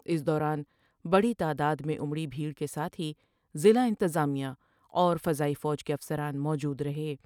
اس دوران بڑی تعداد میں امری بھیٹر کے ساتھ ہی ضلع انتظامیہ اورفضائی فوج کے افسران موجودر ہے ۔